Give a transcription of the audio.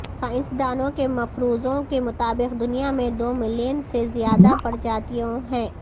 سائنسدانوں کے مفروضوں کے مطابق دنیا میں دو ملین سے زیادہ پرجاتیوں ہیں